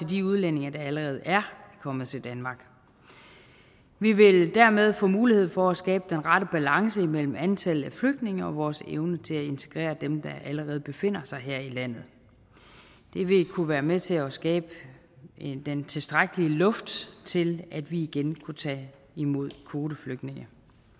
de udlændinge der allerede er kommet til danmark vi vil dermed få mulighed for at skabe den rette balance imellem antallet af flygtninge og vores evne til at integrere dem der allerede befinder sig her i landet det vil kunne være med til at skabe den tilstrækkelige luft til at vi igen kunne tage imod kvoteflygtninge